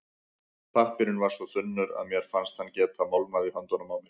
Pappírinn var svo þunnur að mér fannst hann geta molnað í höndunum á mér.